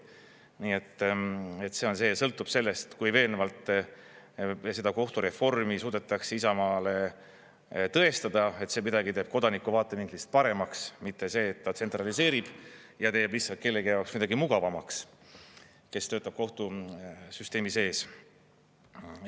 Nii et see on see, sõltub sellest, kui veenvalt seda kohtureformi suudetakse Isamaale tõestada, et see midagi teeb kodaniku vaatevinklist paremaks, mitte see, et ta tsentraliseerib ja teeb lihtsalt kellegi jaoks midagi mugavamaks, kes töötab kohtusüsteemi sees.